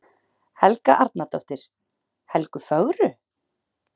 Helga Arnardóttir: Helgu fögru?